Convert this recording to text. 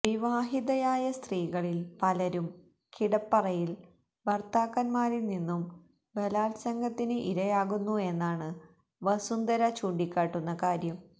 വിവാഹിതയായ സ്ത്രീകളിൽ പലരും കിടപ്പറയിൽ ഭർത്താക്കന്മാരിൽ നിന്നും ബലാത്സംഗത്തിന് ഇരയാകുന്നു എന്നാണ് വസുദ്ധര ചൂണ്ടിക്കാട്ടുന്ന കാര്യം